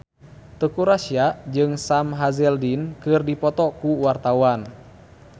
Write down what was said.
Teuku Rassya jeung Sam Hazeldine keur dipoto ku wartawan